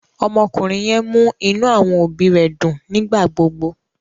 Ọmọkùnrin yẹn mú inú àwọn òbí rẹ̀ dùn nígbà gbógbó